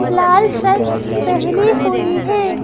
लाल shirt पहने हुए हैं।